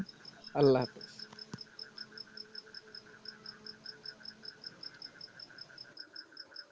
আল্লাহ হাফিজ।